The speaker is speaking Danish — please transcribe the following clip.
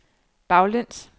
baglæns